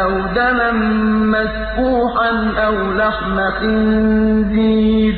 أَوْ دَمًا مَّسْفُوحًا أَوْ لَحْمَ خِنزِيرٍ